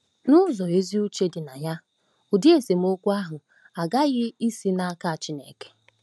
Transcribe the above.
N'ụzọ ezi uche dị na ya, ụdị esemokwu ahụ aghaghị isi n'aka Chineke.